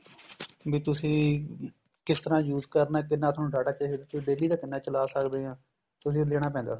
ਵੀ ਤੁਸੀਂ ਕਿਸ ਤਰ੍ਹਾਂ use ਕਰਨਾ ਕਿੰਨਾ ਤੁਹਾਨੂੰ data ਚਾਹੀਦਾ daily ਦਾ ਕਿੰਨਾ ਚਲਾ ਸਕਦੇ ਆ ਤੁਸੀਂ ਲੈਣਾ ਪੈਂਦਾ